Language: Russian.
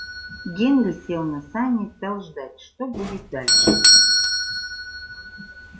генри сел на сани и стал ждать что будет дальше